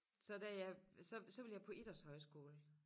Så da jeg så så ville jeg på idrætshøjskole